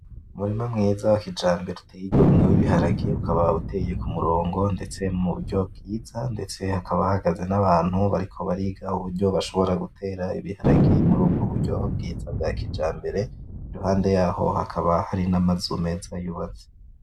Umurima mwiza wa kijambere uteye igomwe wibiharage ukaba uteye kumirongo ndetse muburyo bwiza ndetse hakaba hahagaze n’abantu bariko bariga uburyo bashobora gutera ibiharage murubwo buryo bwiza bwa kijambere impande yaho hakaba hari n’amazu meza y’ubatse